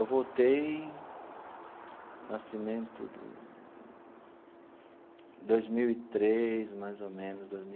Eu voltei no nascimento do dois mil e três, mais ou menos, dois mil e.